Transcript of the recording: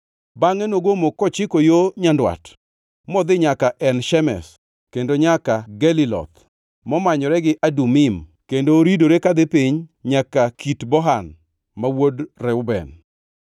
Bangʼe nogomo kochiko yo nyandwat, modhi nyaka En Shemesh, kendo nyaka Geliloth, momanyore gi Adumim, kendo oridore kadhi piny nyaka Kit Bohan ma wuod Reuben.